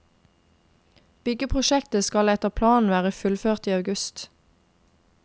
Byggeprosjektet skal etter planen være fullført i august.